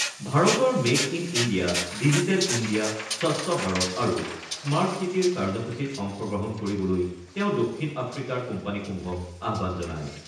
ভাৰতৰ make in India, digital India, স্বচ্ছ ভাৰত আৰু স্মাৰ্ট ছিটিৰ কাৰ্যসূচীত অংশগ্ৰহণ কৰিবলৈ তেওঁ দক্ষিণ আফ্ৰিকাৰ কোম্পানীসমূহক আহ্বান জনায়।